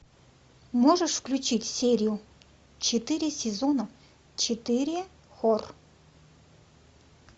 можешь включить серию четыре сезона четыре хор